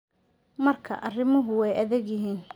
Markaa arrimuhu way adag yihiin.